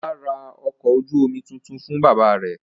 Ọlá ra ọkọ̀ ojú-omi tuntun fún bàbá rẹ̀.